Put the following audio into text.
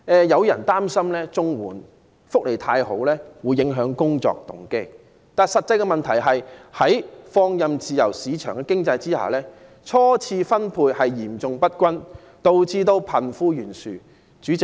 有人擔心綜援福利太好會影響工作動機，但實際的問題是，在放任的自由市場經濟下，財富初次分配嚴重不均，導致貧富懸殊。